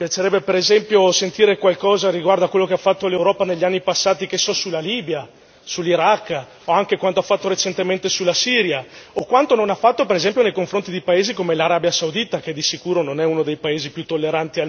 Mi piacerebbe, per esempio, sentire qualcosa riguardo quello che ha fatto l'Europa negli anni passati riguardo alla Libia, all'Iraq, o anche quanto ha fatto recentemente riguardo alla Siria o quanto non ha fatto, ad esempio, nei confronti di paesi come l'Arabia Saudita, che di sicuro non è uno dei paesi più